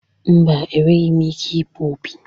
Mba, enweghị m ike ịkpọ opi.